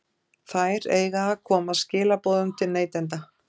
Þær eiga að koma skilaboðum til neytenda.